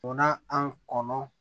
Donna an kɔnɔ